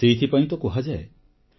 ସେଥିପାଇଁ ତ କୁହାଯାଏ